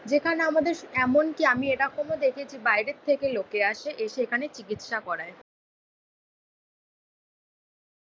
যেখানে আমাদের এমনকি আমি এরকমও দেখেছি বাইরের থেকে লোকে আসে, এসে এখানে চিকিৎসা করায়।